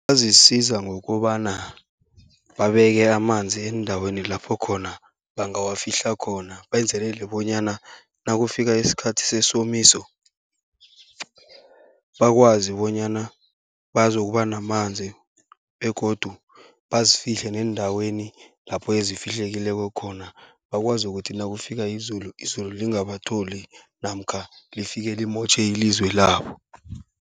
Bangazisiza ngokobana babeke amanzi eendaweni lapho khona bangawafihla khona, benzelele bonyana nakufika isikhathi sesomiso bakwazi bonyana bazokuba namanzi. Begodu bazifihle neendaweni lapho ezifihlekileko khona, bakwazi ukuthi nakufika izulu, izulu lingabatholi namkha lifike limotjhe ilizwe labo.